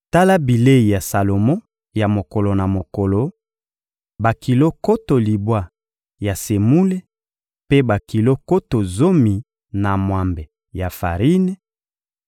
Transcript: Tala bilei ya Salomo ya mokolo na mokolo: bakilo nkoto libwa ya semule mpe bakilo nkoto zomi na mwambe ya farine,